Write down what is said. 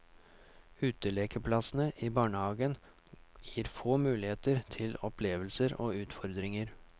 Utelekeplassene i barnehagen gir få muligheter til opplevelser og utfordringer.